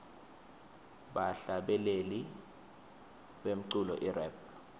bahlabeleli bemculo irap